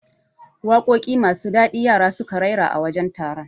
Waƙoƴi masu dadi yaran suka raira a wajen taron